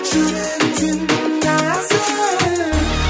жүрегің сенің нәзік